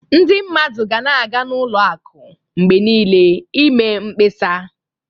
Ndị mmadụ ga na-aga n'ụlọ akụ mgbe niile i mee mkpesa.